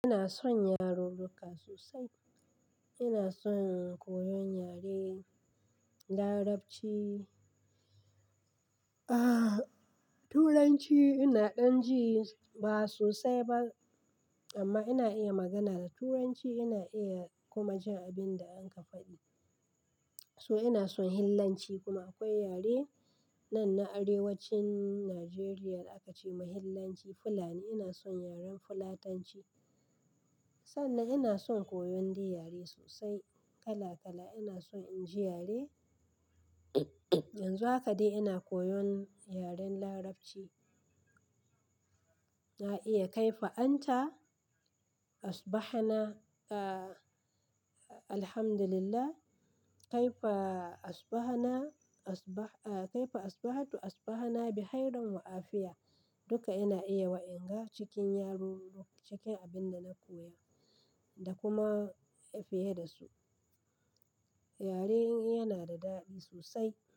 Ina son yarurruka sosai. Ina son koyon yare Larabci. Turanci ina dan ji ba sosai ba amma ina iya magana da Turanci. Ina iya kuma jin abin da an kafadi. So ina son fillanci kuma akwai yare nan na arewacin Najeriya aka ce ma fillanci Fulani. Ina son yaren fulatanci. Sannan ina son koyon di yare sosai kala kala. Ina son in ji yare. Yanzu haka dai ina koyon yaren Larabci. Na iya kaifa anta, asbahana, alhamdulillah, kaifa asbahana, kaifa asbahatu asbahana bihairan wa afiya. Duka ina iya wa inga cikin yaro cikin abin da na koya da kuma fiye da su. Yare yana da dadi sosai.